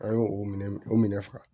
An y'o o minɛ o minɛ faga